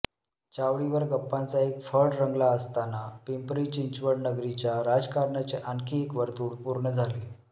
चावडीवर गप्पांचा एक फड रंगला असताना पिंपरी चिंचवड नगरीच्या राजकारणाचे आणखी एक वर्तुळ पूर्ण झाले